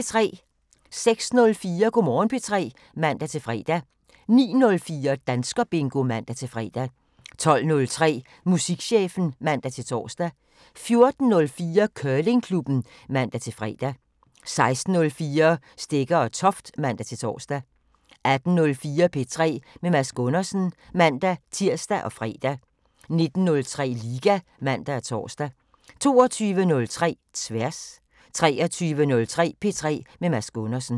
06:04: Go' Morgen P3 (man-fre) 09:04: Danskerbingo (man-fre) 12:03: Musikchefen (man-tor) 14:04: Curlingklubben (man-fre) 16:04: Stegger & Toft (man-tor) 18:04: P3 med Mads Gundersen (man-tir og fre) 19:03: Liga (man og tor) 22:03: Tværs 23:03: P3 med Mads Gundersen